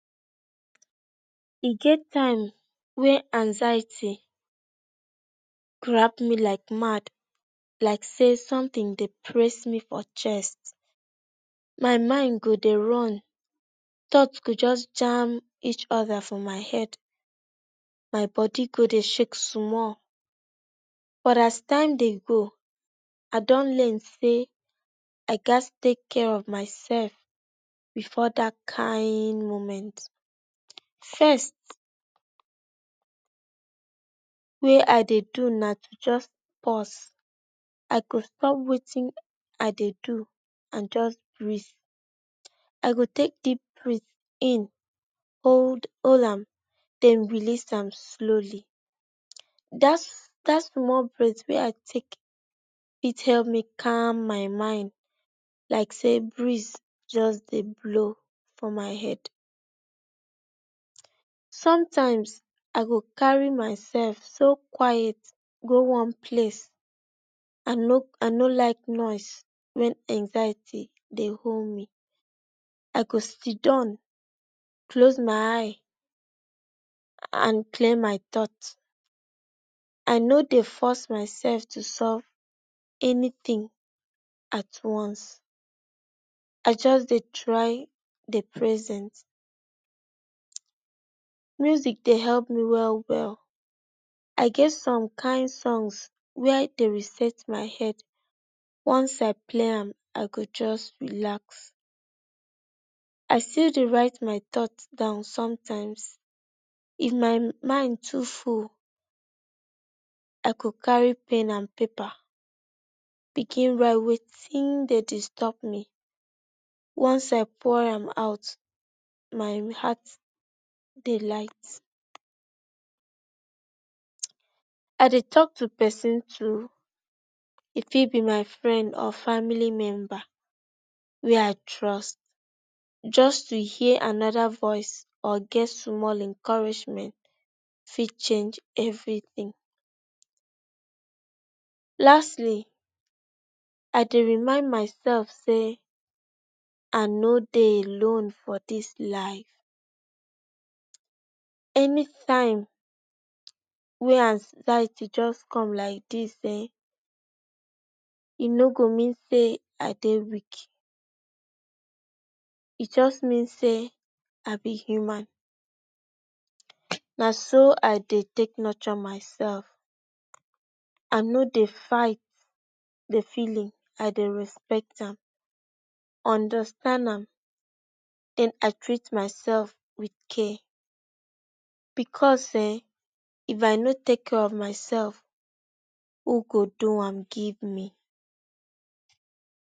E get time wey anxiety grab me like mad like say something dey press me for chest my mind go dey run tot go just jam each other for my head my body go dey shake sumal but as time dey go I Don learn say I gats take care of myself before that kain moment. First wey I dey do na just pus I go stop wetin I dey do and just brit I go take deep brit in hol am den release am slowly dat small brit wey I take help me calm my mind like say breeze just dey blow for my head sometimes I go carry my self so quite go one place ano like noise when anxiety dey hol me I go sidon close my eye and clear my thought I no dey force my self to solf anything at one's I just dey try dey present music dey help me well well I get some kain song wey dey reset my head once I play am I go just relax I still dey write my thought down sometimes if my mind too full I go carry pen and Pepa begin write wetin dey disturb me oneself por am put my heart dey light. I dey talk to person too e fit be my friend or family member wey I trust just to hear anoda voice or get small encouragement fit change everything Lastly I dey remind my self say I no dey alone for this life any time wey anxiety just come like dis[um]he no go mean say I dey weak e just mean say I be human na so I dey take nutur myself I no dey fight the feeling I dey respect am understand am and I treat myself with care becoz hen of I no take care of myself who go do am give me